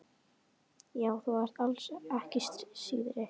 Já, þú ert alls ekki síðri.